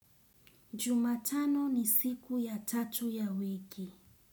Juma tano ni siku ya tatu ya wiki.